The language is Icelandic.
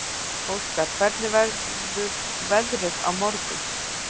Óskar, hvernig verður veðrið á morgun?